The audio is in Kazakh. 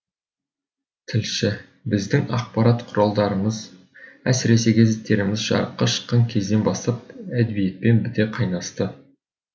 тілші біздің ақпарат құралдарымыз әсіресе газеттеріміз жарыққа шыққан кезден бастап әдебиетпен біте қайнасты